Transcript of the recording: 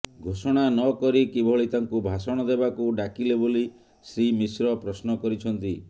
ଘୋଷଣା ନ କରି କିଭଳି ତାଙ୍କୁ ଭାଷଣ ଦେବାକୁ ଡାକିଲେ ବୋଲି ଶ୍ରୀ ମିଶ୍ର ପ୍ରଶ୍ନ କରିଛନ୍ତି